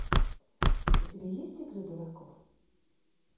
у тебя есть игры дураков